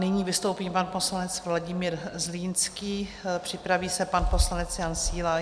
Nyní vystoupí pan poslanec Vladimír Zlínský, připraví se pan poslanec Jan Síla.